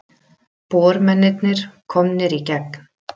Bormennirnir komnir í gegn